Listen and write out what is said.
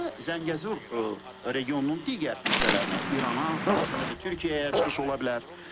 Və Zəngəzur regionunun digər hissələrinə İrana, daha sonra isə Türkiyəyə çıxış ola bilər.